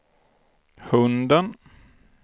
hunden